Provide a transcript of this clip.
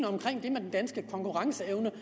omkring den danske konkurrenceevne